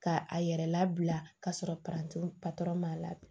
Ka a yɛrɛ labila k'a sɔrɔ patɔrɔn ma